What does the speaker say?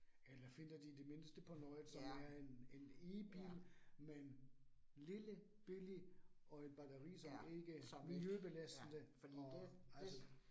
Eller finder de i det mindste på noget, som er en en E bil, men lille, billig og et batteri som ikke miljøbelastende og altså